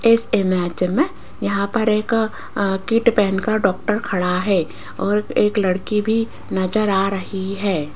इस इमेज में यहां पर एक अं किट पहन कर डॉक्टर खड़ा है और एक लड़की भी नजर आ रही है।